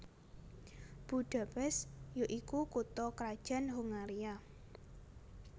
Budapest ya iku kutha krajan Hongaria